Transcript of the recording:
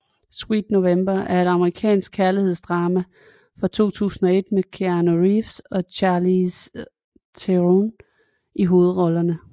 Sweet November er et amerikansk kærlighedsdrama fra 2001 med Keanu Reeves og Charlize Theron i hovedrollerne